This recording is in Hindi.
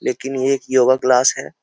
लेकिन ये एक योगा क्लास है।